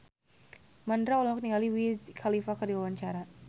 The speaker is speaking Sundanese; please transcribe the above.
Mandra olohok ningali Wiz Khalifa keur diwawancara